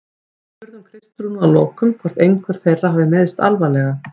Við spurðum Kristrúnu að lokum hvort einhver þeirra hafi meiðst alvarlega?